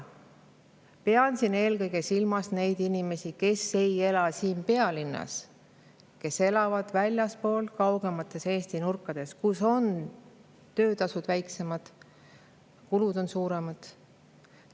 Pean siin eelkõige silmas neid inimesi, kes ei ela siin pealinnas, kes elavad väljaspool, kaugemates Eesti nurkades, kus on töötasud väiksemad ja kulud on suuremad.